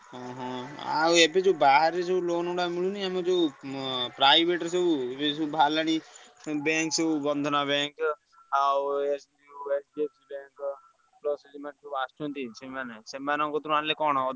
ହଁ ହଁ ଆଉ ଏବେ ଯୋଉ ବାହାରେ ଯୋଉ loan ଗୁଡାକ ମିଳୁନି ଆମର ଯୋଉ ଉଁ private ରେ ସବୁ ଏବେ ସବୁ ବାହାରିଲାଣି ଉଁ bank ସବୁ ବନ୍ଧନା bank ଆଉ ଆସୁଛନ୍ତି ସେମାନେ ସେମାନଙ୍କ କତିରୁ ଆଣିଲେ କଣ।